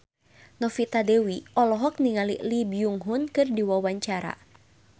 Novita Dewi olohok ningali Lee Byung Hun keur diwawancara